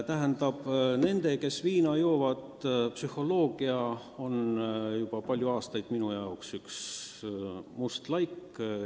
Aga viina joovate inimeste psühholoogia on juba palju aastaid minu jaoks üks must laik olnud.